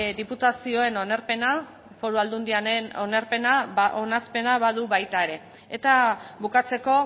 diputazioen onarpena foru aldundiaren onespena badu baita ere eta bukatzeko